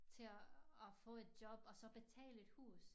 Til at at få et job og så betale et hus